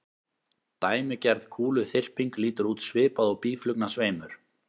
Dæmigerð kúluþyrping lítur út svipað og býflugnasveimur.